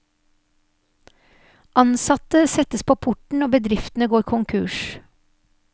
Ansatte settes på porten og bedriftene går konkurs.